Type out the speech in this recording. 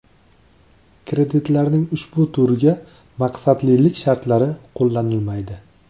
Kreditlarning ushbu turiga maqsadlilik shartlari qo‘llanilmaydi.